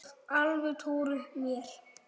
Þú mátt alveg trúa mér!